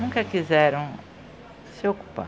Nunca quiseram se ocupar.